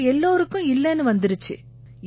அவங்க எல்லாருக்கும் இல்லைன்னு வந்திருச்சு